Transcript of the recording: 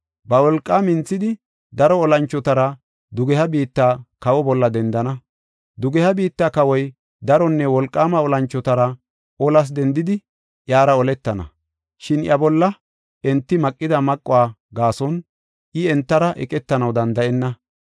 Ba wolqaa minthidi, daro olanchotara dugeha biitta kawa bolla dendana. Dugeha biitta kawoy daronne wolqaama olanchotara olas dendidi, iyara oletana. Shin iya bolla enti maqida maquwa gaason, I entara eqetanaw danda7enna.